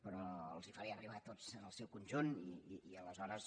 però els hi faré arribar tots en el seu conjunt i aleshores